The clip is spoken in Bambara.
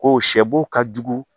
Ko sɛ bo ka jugu